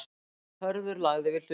Hörður lagði við hlustir.